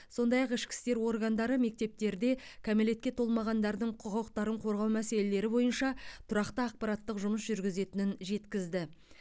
сондай ақ ішкі істер органдары мектептерде кәмелетке толмағандардың құқықтарын қорғау мәселелері бойынша тұрақты ақпараттық жұмыс жүргізетінін жеткізді